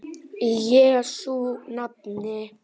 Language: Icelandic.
Í Jesú nafni.